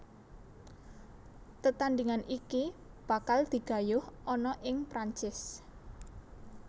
Tetandhingan iki bakal digayuh ana ing Prancis